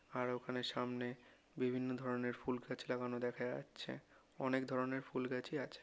আর ওখানে সামনে বিভিন্ন ধরেনের ফুল গাছ লাগানো দেখা যাচ্ছে। অনেক ধরেনের ফুল গাছই আছে।